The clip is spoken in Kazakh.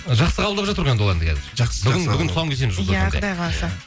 жақсы қабылдап жатыр ғой енді ол әнді қазір жақсы бүгін тұсауын кесеміз жұлдыз фм де иә құдай қаласа